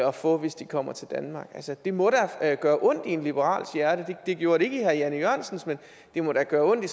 at få hvis de kommer til danmark det må da gøre ondt i en liberals hjerte det gjorde det ikke i herre jan e jørgensens men det må da gøre ondt i